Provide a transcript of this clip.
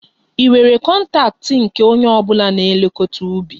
Ị nwere kọntaktị nke onye ọ bụla na-elekọta ubi?